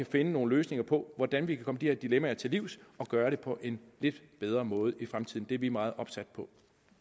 finde nogle løsninger på hvordan vi kan komme de her dilemmaer til livs og gøre det på en lidt bedre måde i fremtiden det er vi meget opsatte på